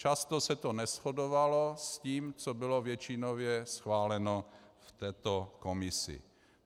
Často se to neshodovalo s tím, co bylo většinově schváleno v této komisi.